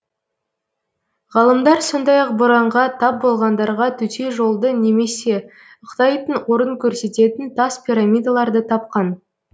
ғалымдар сондай ақ боранға тап болғандарға төте жолды немесе ықтайтын орын көрсететін тас пирамидаларды тапқан